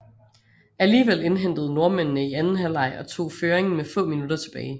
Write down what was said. Alligevel indhentede nordmændene i anden halvleg og tog føringen med få minutter tilbage